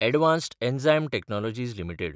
advanced enzyme technologies limited